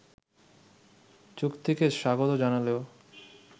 চুক্তিকে স্বাগত জানালেও